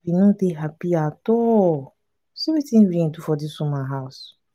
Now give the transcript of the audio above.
we no dey happy at all see wetin rain do for dis woman house.